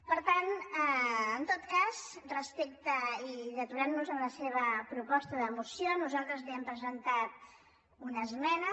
per tant en tot cas i deturant nos en la seva proposta de moció nosaltres li hem presentat una esmena